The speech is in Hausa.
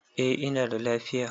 Eh ina da lafaya